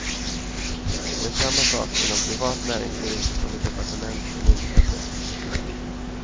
Det är samma sak inom privat näringsliv som i departement och myndigheter.